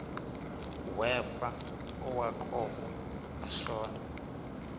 wefa owaqokwa ashona